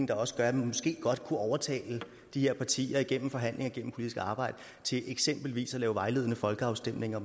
der også gør at man måske godt kunne overtale de her partier gennem forhandlinger og politisk arbejde til eksempelvis at lave vejledende folkeafstemninger